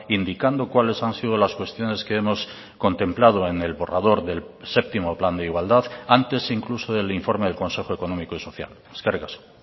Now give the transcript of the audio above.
indicando cuáles han sido las cuestiones que hemos contemplado en el borrador del séptimo plan de igualdad antes incluso del informe del consejo económico y social eskerrik asko